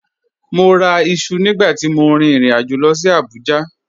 Mọ́ rà ìṣu nígbà tí mọ̀ ríin ìrìn-àjọ̀ lọ sí Abuja